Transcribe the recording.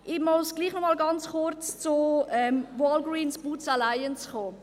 Ich muss doch noch einmal ganz kurz zu Walgreen Boots Alliance zu sprechen kommen.